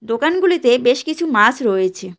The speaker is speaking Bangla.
দোকানগুলিতে বেশ কিছু মাছ রয়েছে।